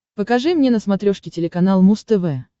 покажи мне на смотрешке телеканал муз тв